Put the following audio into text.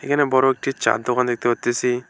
এখানে বড় একটি চা'র দোকান দেখতে পারতেসি।